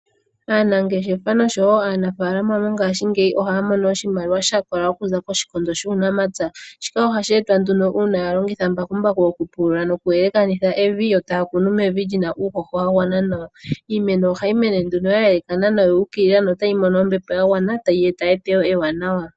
Aanangeshefa nosho wo aanafaalama mongashingeyi ohaya mono oshimaliwa sha kola okuza koshikondo shuunamapya. Shika ohashi etwa nduno uuna a longitha mbakumbaku oku pulula noku yelekanitha evi, yo taya kunu mevi lyina uuhoho wa gwana nawa. Iimeno ohayi mene nduno ya yelekana noya ukilila no tayi mono ombepo ya gwana nawa, tayi eta eteyo ewanawa.